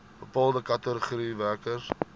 bepaalde kategorieë werkers